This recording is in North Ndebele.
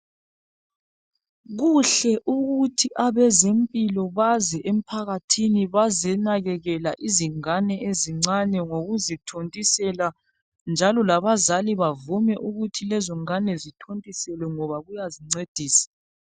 Kuhle ukuthi abezempilo baze ephakathini bazenakekela izingane ezincane ngokuzithontisela, njalo labazali bavume ukuthi lezo ngane zithontiselwe ngoba kuyazincedisa.